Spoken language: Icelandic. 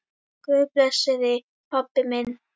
Guð blessi þig, pabbi minn.